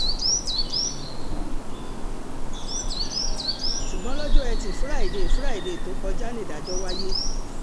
ṣùgbọ́n lọ́jọ́ etí furuufee furuufee tó kọjá nídàjọ́ wáyé